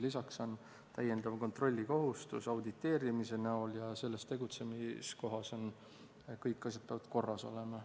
Lisaks on kontrollikohustus auditeerimise näol ja selles tegutsemiskohas peavad kõik asjad korras olema.